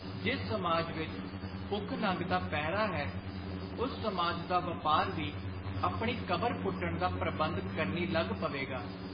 ਜਿਸ ਸਮਾਜ ਵਿਚ ਭੁੱਖ ਨੰਗ ਦਾ ਪਹਿਰਾ ਹੈ, ਉਸ ਸਮਾਜ ਦਾ ਵਾਪਾਰ ਵੀ ਆਪਣੀ ਕਬਰ ਪੁੱਟਣ ਦਾ ਪ੍ਰਬੰਧ ਕਰਨੀ ਲੱਗ ਪਵੇਗਾ।